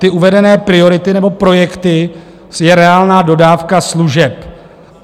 Ty uvedené priority nebo projekty je reálná dodávka služeb.